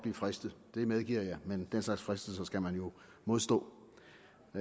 fristet det medgiver jeg men den slags fristelser skal man jo modstå